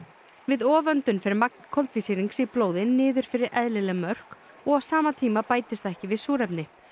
við fer magn koltvísýrings í blóði niður fyrir eðlileg mörk og á sama tíma bætist ekki við súrefni